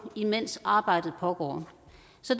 imens arbejdet pågår